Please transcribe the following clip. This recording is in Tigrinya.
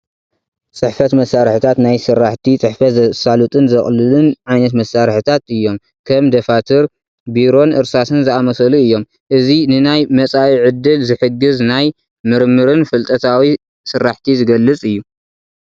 ፅሕፈት መሳርሕታት ናይ ስራሕቲ ፅሕፈት ዘሳልጡልን ዘቕሉልን ዓይነታት መሳርሕታት እዮም፡፡ ከም ደፋትር፣ ቢሮን እርሳስን ዝኣመሰሉ እዮም፡፡ እዚ ንናይ መፃኢ ዕድል ዝሕግዝ ናይ ምርምርን ፍልጠታዊ ስራሕቲ ዝገልፅ እዩ፡፡